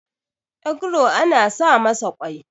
egro ana sa masa kwai